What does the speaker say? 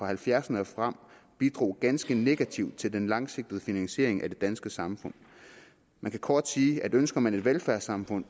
halvfjerdserne og frem bidrog ganske negativt til den langsigtede finansiering af det danske samfund man kan kort sagt sige at ønsker man et velfærdssamfund